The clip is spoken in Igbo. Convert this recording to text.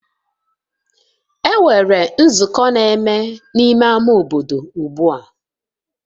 Enwere nzukọ na-eme n'ime ama obodo ugbua